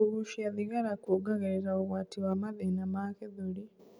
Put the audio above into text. Kugucia thigara kuongagirirĩa ugwati wa mathĩna ma gĩthũri